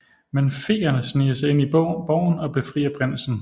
Men feerne sniger sig ind i borgen og befrier prinsen